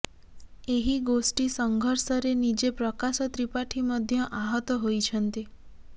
ଏହି ଗୋଷ୍ଠୀ ସଂଘର୍ଷରେ ନିଜେ ପ୍ରକାଶ ତ୍ରିପାଠୀ ମଧ୍ୟ ଆହତ ହୋଇଛନ୍ତି